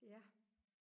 ja